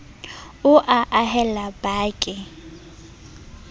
o a haella ba ke